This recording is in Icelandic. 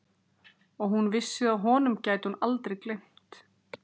Og hún vissi að honum gæti hún aldrei gleymt.